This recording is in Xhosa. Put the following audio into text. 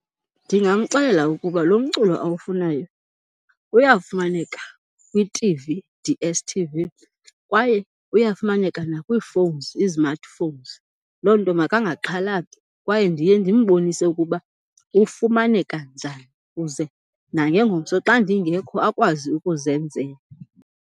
Ndingamxelela ukuba lo mculo awufunayo uyafumaneka kwi-T_V D_S_t_v kwaye uyafumaneka nakwii-phones i-smartphones, loo nto makangaxhalabi. Kwaye ndiye ndimbonise ukuba ufumaneka njani kuze nangengomso xa ndingekho akwazi ukuzenzela.